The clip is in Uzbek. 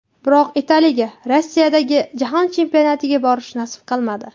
Biroq Italiyaga Rossiyadagi Jahon Chempionatiga borish nasib qilmadi.